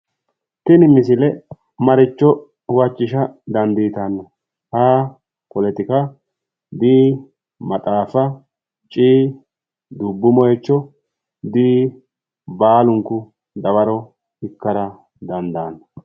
Tini misile maricho huwachissa dandiitanno? A. poletika B. maxaafa, C dubbu moyiicho D, baalunku dawarro ikkara dandaanno.